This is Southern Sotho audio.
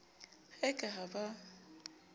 ha e ka ha ba